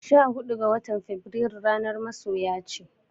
Sha hudu ga watan Fabrairu ranar masoya ce.